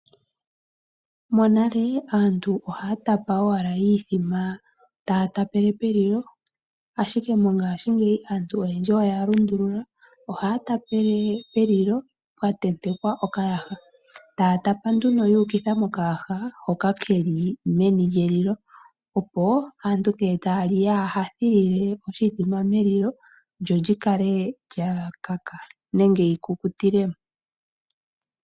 Monale aantu ohaa tapa owala iithima taa tapele pelilo, ashike mongashingeyi aantu oyendji oya lundulula. Ohaa tapele pelilo pwa tentekwa okayaha, taa tapa nduno yuukitha mokayaha hoka keli meni lyelilo. Opo aantu ngele taa li yaa thilile oshithima melililo, lyo lyi kale lya kaka nenge yi kukutile mo.